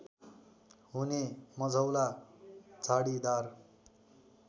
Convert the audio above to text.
हुने मझौला झाडीदार